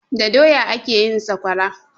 Da doya ake yin saƙwara